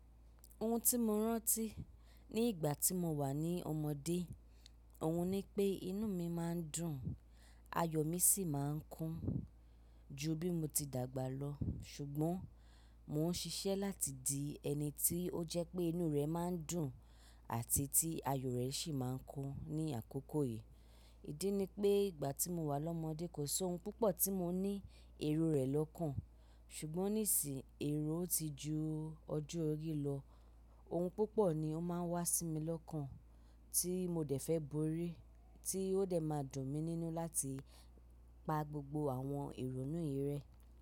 Ohun tí mo rántí ní ìgbà tí mo wà ní ọmọdé, ò hun ni pé inú mi má ń dùn, ayọ̀ mi sì má ń kún ju bí mo ti dàgbà lọ. Ṣùgbọ́n mò ń ṣiṣẹ́ láti di ẹni tí ó jẹ́ pé inú rẹ̀ má ń dùn àti tí ayọ̀ rẹ̀ sì má ń kún ní àkókò yìí. Ìdí ni pé ìgbà tí mo wà lọ́mọdé kò sé ohun púpọ̀ tí mo ní èrò rẹ̀ lọ́kàn. Ṣùgbọ́n ní sì yín èrò ti ju ọjọ́ orí lọ, ohun púpọ̀ ni ó má ń wá sí mi lọ́kàn tí mo dẹ̀ fẹ́ borí, tí ó dẹ̀ má dùn mi nínú láti pa gbogbo àwọn èrò inú yìí rẹ.